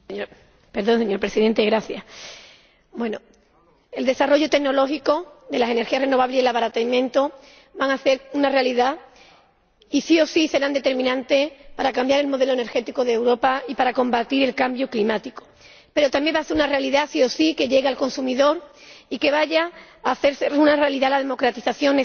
Señor Presidente, el desarrollo tecnológico de las energías renovables y su abaratamiento van a ser una realidad y —sí o sí— serán determinantes para cambiar el modelo energético de Europa y para combatir el cambio climático, pero también va a ser una realidad —sí o sí— que lleguen al consumidor y que vaya a hacerse realidad la democratización necesaria